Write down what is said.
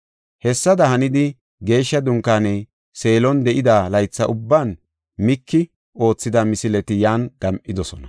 Hessada hanidi, Geeshsha Dunkaaney Seelon de7ida laytha ubban Miiki oothida misileti yan gam7idosona.